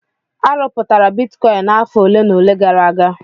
A rụpụtara bitikọin n'afọ ole na ole gara aga.